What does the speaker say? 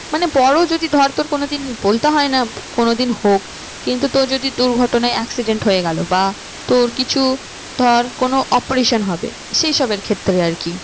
মানে বড়ো যদি ধর তোর কোনো দিন বলতে হয় না কোনো দিন হোক কিন্তু তোর যদি দুর্ঘটনায় accident হয়ে গেলো বা তোর কিছু ধর কোনো operation হবে সেই সবের ক্ষেত্রে আর কি